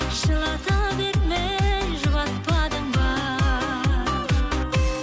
жылата бермей жұбатпадың ба